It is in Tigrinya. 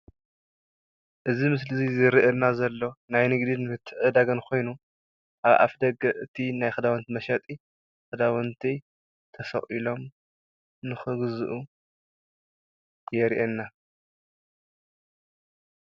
እዚ ምስሊ እዚ ዝርአየና ዘሎ ናይ ንግድን ምትዕድዳግን ኾይኑ ኣብ ኣፍደገ እቲ ናይ ኽዳውንቲ መሸጢ ክዳውንቲ ተሰቂሎም ንኽግዝኡ የርአየና።